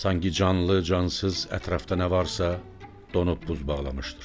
Sanki canlı, cansız ətrafda nə varsa, donub buz bağlamışdır.